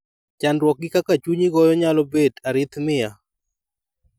chandruok gi kaka chunyi goyo nyalo bet arrhythmia